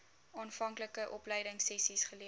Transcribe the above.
aanvanklike opleidingsessies geleer